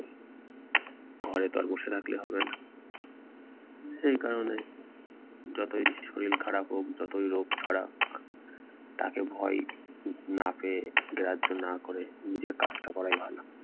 ঘরেতো আর বসে থাকলে হবে না। সেই কারণে যতই শরীর খারাপ হোক যতই রোগ ছাড়া তাকে ভয় না পেয়ে গ্রাহ্য না করে নিজের কাজটা করাই ভালো।